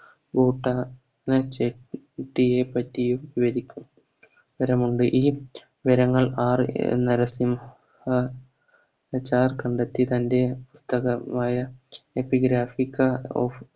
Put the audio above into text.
പറ്റിയും വിവരിക്കും ഈ നരസിംഹ കണ്ടെത്തി തൻറെ